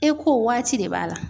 E ko waati de b'a la.